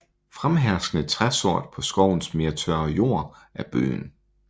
Fremherskende træsort på skovens mere tørre jord er bøgen